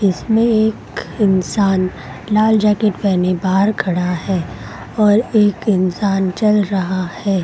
इसमें एक इंसान लाल जैकेट पहने बाहर खड़ा है और एक इंसान चल रहा है ।